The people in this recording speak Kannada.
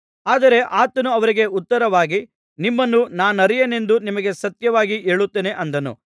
ಆದರೆ ಆತನು ಅವರಿಗೆ ಉತ್ತರವಾಗಿ ನಿಮ್ಮನ್ನು ನಾನರಿಯೆನೆಂದು ನಿಮಗೆ ಸತ್ಯವಾಗಿ ಹೇಳುತ್ತೇನೆ ಅಂದನು